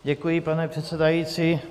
Děkuji, pane předsedající.